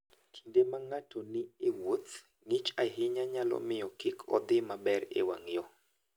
Kinde ma ng'ato ni e wuoth, ng'ich ahinya nyalo miyo kik odhi maber e wang'yo.